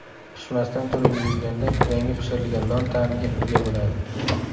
Pishmasdan turib yeyilganda, yangi pishirilgan non ta’miga ega bo‘ladi.